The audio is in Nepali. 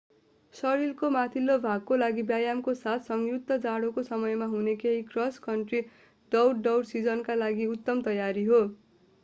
शरीरको माथिल्लो भागको लागि व्यायामको साथ संयुक्त जाडोको समयमा हुने केही क्रस कन्ट्री दौड दौड सिजनका लागि उत्तम तयारी हो